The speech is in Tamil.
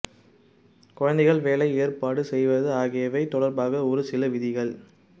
குழந்தைகள் வேலை ஏற்பாடு செய்வது ஆகியவை தொடர்பாக ஒரு சில விதிகள்